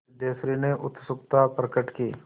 सिद्धेश्वरी ने उत्सुकता प्रकट की